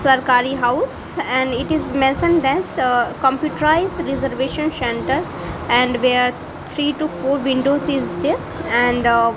sarkari house and it is mentioned that uh computerised reservation centre and where three to four windows is there and a --